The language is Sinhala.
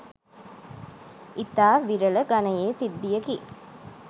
ඉතා විරල ගණයේ සිද්ධියකි.